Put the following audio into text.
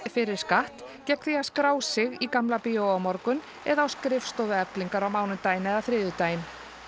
fyrir skatt gegn því að skrá sig í Gamla bíói á morgun eða á skrifstofu Eflingar á mánudaginn eða þriðjudaginn